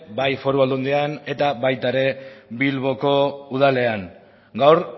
bai foru aldundian eta baita ere bilboko udalean gaur